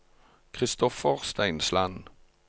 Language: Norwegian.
Kristoffer Steinsland